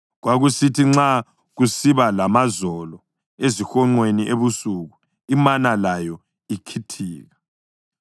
Kwakusithi nxa kusiba lamazolo ezihonqweni ebusuku, imana layo ikhithika.